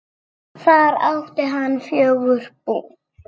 Þar átti hann fjögur bú.